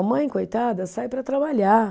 A mãe, coitada, sai para trabalhar.